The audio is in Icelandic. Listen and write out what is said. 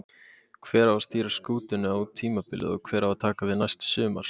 Hver á að stýra skútunni út tímabilið og hver á að taka við næsta sumar?